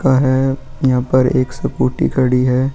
का है यहां पर एक सपोटी खड़ी है.